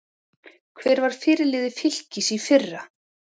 Hver var fyrirliði Fylkis í fyrra?